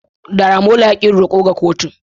Daramola ya ki yin roko ga kotun.